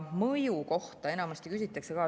Mõju kohta enamasti küsitakse ka.